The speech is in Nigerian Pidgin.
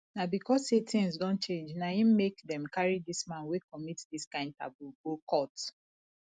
na because sey tins don change na im make dem carry dis man wey commit dis kind taboo go court